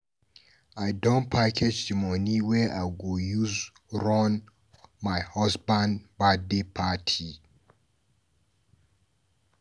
I don package di moni wey I go use run my husband birthday party.